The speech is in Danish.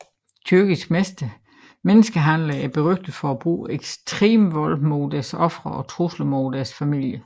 Tyrkiske menneskehandlere er berygtede for at bruge ekstrem vold mod deres ofre og trusler mod deres familier